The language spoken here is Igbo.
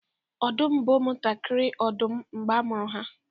ọdụm bụ ụmụ ntakịrị odum mgbe a mụrụ ha